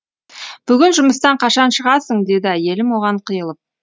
бүгін жұмыстан қашан шығасың деді әйелім оған қиылып